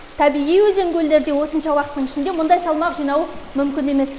табиғи өзен көлдерде осынша уақыттың ішінде мұндай салмақ жинау мүмкін емес